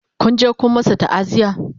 Kun je Kun masu ta'aziya?